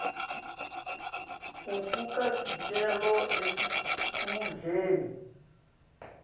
ufaka sicelo esikhundleni